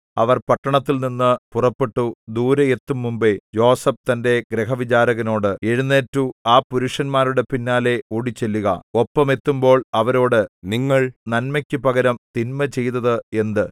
അവർ പട്ടണത്തിൽനിന്നു പുറപ്പെട്ടു ദൂരെ എത്തുംമുമ്പെ യോസേഫ് തന്റെ ഗൃഹവിചാരകനോടു എഴുന്നേറ്റു ആ പുരുഷന്മാരുടെ പിന്നാലെ ഓടിച്ചെല്ലുക ഒപ്പം എത്തുമ്പോൾ അവരോടു നിങ്ങൾ നന്മയ്ക്കു പകരം തിന്മ ചെയ്തത് എന്ത്